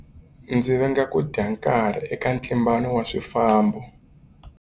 Ndzi venga ku dya nkarhi eka ntlimbano wa swifambo.